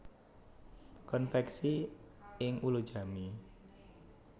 Konveksi ing Ulujami